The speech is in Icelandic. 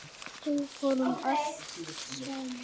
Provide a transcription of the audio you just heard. Við fórum allt saman.